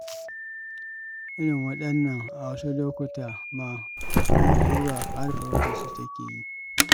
Irin waɗannan a wasu lokutan ma hukumar Hisba har farautarsu take yi.